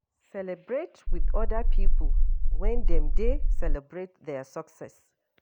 Celebrate with oda pipo when dem dey celebrate their success